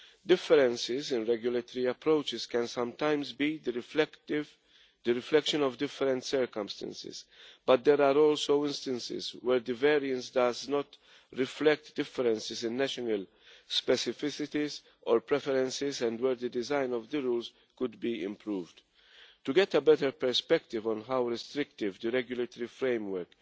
Differences in regulatory approaches can sometimes be the reflection of different circumstances, but there are also instances where the variance does not reflect differences in national specificities or preferences and where the design of the rules could be improved. To get a better perspective on how restrictive the regulatory framework